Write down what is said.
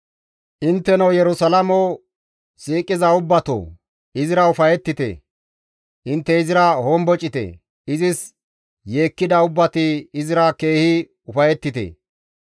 «Intteno Yerusalaamo siiqiza ubbatoo, izira ufayettite; intte izira hombocite; izis yeekkida ubbati izira keehi ufayettite.